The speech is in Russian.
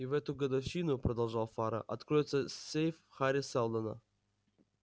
и в эту годовщину продолжал фара откроется сейф хари сэлдона